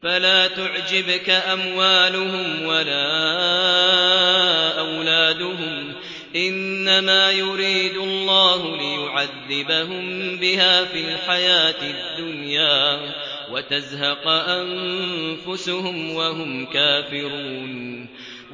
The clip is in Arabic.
فَلَا تُعْجِبْكَ أَمْوَالُهُمْ وَلَا أَوْلَادُهُمْ ۚ إِنَّمَا يُرِيدُ اللَّهُ لِيُعَذِّبَهُم بِهَا فِي الْحَيَاةِ الدُّنْيَا وَتَزْهَقَ أَنفُسُهُمْ وَهُمْ كَافِرُونَ